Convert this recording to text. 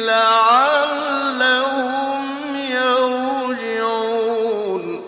لَعَلَّهُمْ يَرْجِعُونَ